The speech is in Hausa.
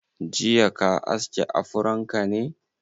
Jiya ka aske afron ka ne?